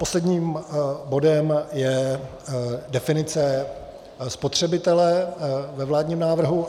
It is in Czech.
Posledním bodem je definice spotřebitele ve vládním návrhu.